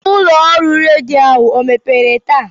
Ụlọ ọrụ redio ahụ emepere taa?